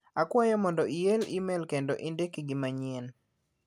Akwayo mondo iel imel kendo indik gi manyien.